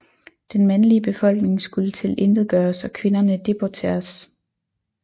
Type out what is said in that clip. Den mandlige befolkning skulle tilintetgøres og kvinderne deporteres